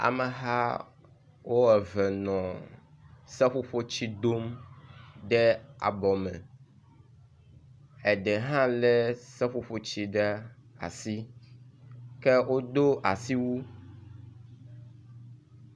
Amehawo eve nɔ seƒoƒotsi dom ɖe abɔ me, eɖe hã le seƒoƒotsi ɖe asi ke wodo asiwu